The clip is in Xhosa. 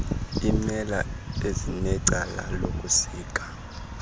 imela ezinecala lokusika